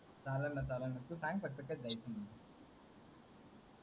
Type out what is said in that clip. चालल न चालल न तु सांग फक्त कधी जायचं